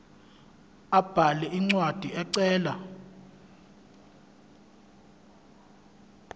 abhale incwadi ecela